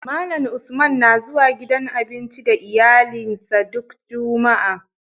Malan Usman na zuwa gidan abinci da iyalin sa duk jumaa